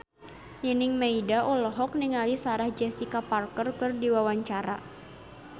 Nining Meida olohok ningali Sarah Jessica Parker keur diwawancara